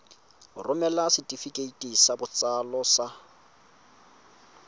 romela setefikeiti sa botsalo sa